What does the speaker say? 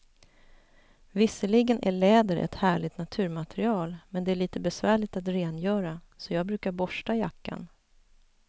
Visserligen är läder ett härligt naturmaterial, men det är lite besvärligt att rengöra, så jag brukar borsta jackan.